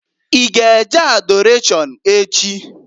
I g' e je Adọrashọn echi?